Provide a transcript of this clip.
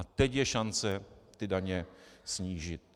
A teď je šance ty daně snížit.